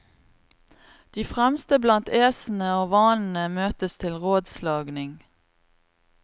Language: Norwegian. De fremste blant æsene og vanene møtes til rådslagning.